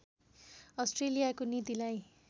अस्ट्रेलियाको नीतिलाई